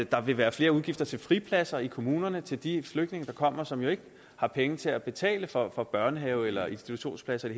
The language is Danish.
der vil være flere udgifter til fripladser i kommunerne til de flygtninge der kommer som jo ikke har penge til at betale for for børnehave eller institutionspladser i